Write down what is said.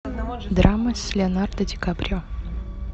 драма с леонардо ди каприо